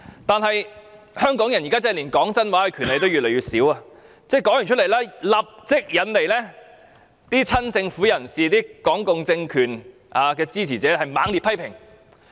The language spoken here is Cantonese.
但是，香港人現時真的連說真話的權利都越來越少，林超英的一番話立即引來親政府人士和港共政權支持者的猛烈批評。